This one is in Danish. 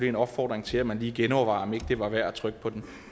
en opfordring til at man lige genovervejer om ikke det var værd at trykke på den